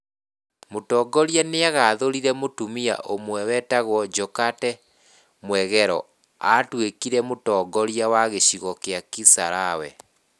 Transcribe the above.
Mũtongoria nĩagathurire mũtumia ũmwe wĩtagwo Jokate Mwegelo aatuĩkire mũtongoria wa gĩcigo kĩa Kisarawe.